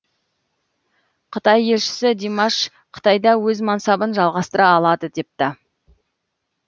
қытай елшісі димаш қытайда өз мансабын жалғастыра алады депті